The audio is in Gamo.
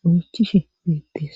goochishe deettes